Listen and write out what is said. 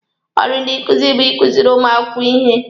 Ọrụ ndị nkuzi bụ ikuziri ụmụ akwụkwọ ihe.